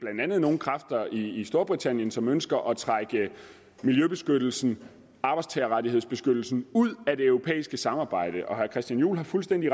nogle kræfter i storbritannien som ønsker at trække miljøbeskyttelsen arbejdstagerrettighedsbeskyttelsen ud af det europæiske samarbejde og herre christian juhl har fuldstændig